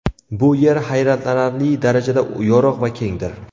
Bu yer hayratlanarli darajada yorug‘ va kengdir.